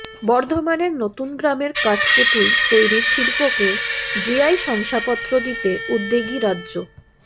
বর্ধমানের নতুন গ্রামের কাঠ পুতুল তৈরির শিল্পকে জিআই শংসাপত্র দিতে উদ্যোগী রাজ্য